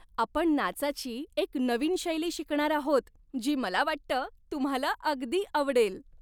आपण नाचाची एक नवीन शैली शिकणार आहोत, जी मला वाटतं तुम्हाला अगदी आवडेल.